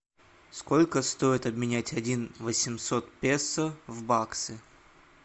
сколько стоит обменять один восемьсот песо в баксы